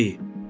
Hər şeyi.